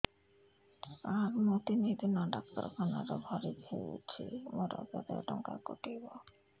ସାର ମୁ ତିନି ଦିନ ଡାକ୍ତରଖାନା ରେ ଭର୍ତି ହେଇଛି ମୋର କେତେ ଟଙ୍କା କଟିବ